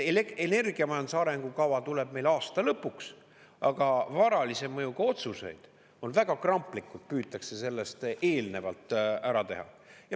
Energiamajanduse arengukava tuleb meil aasta lõpuks, aga varalise mõjuga otsuseid püütakse väga kramplikult sellest eelnevalt ära teha.